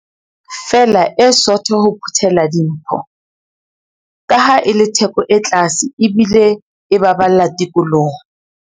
feela e sootho ho phuthela dimpho, kaha e le theko e tlase ebile e baballa tikoloho.